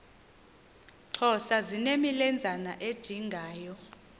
xhosa zinemilenzana ejingayo